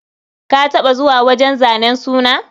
Ka taɓa zuwa wajen zanen suna?